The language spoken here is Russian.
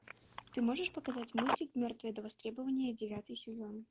ты можешь показать мультик мертвые до востребования девятый сезон